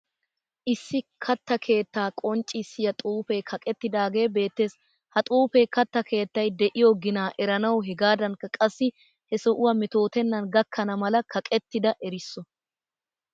Issi katta keettaa qonccissiya xuufee kaqettidaagee beettees. Ha xuufe katta keettayi de'iyo ginaa eranawu hegaadankka qassi he sohuwa metootennan gakkana mala kaqettida erisso.